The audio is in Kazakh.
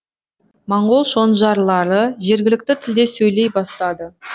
моңғол шонжарлары жергілікті тілде сөйлей бастады